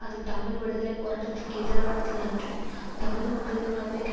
அது தமிழ் விடுதலை போராட்டத்திக்கு எதிரானது என்றும் தமிழ் மக்களுக்கு நம்பிக்கை